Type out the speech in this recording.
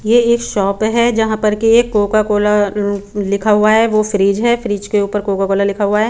ये एक शॉप है जहां पर एक कोका कोला लिखा हुआ है वो फ्रिज है फ्रिज के ऊपर कोका कोला लिखा हुआ है।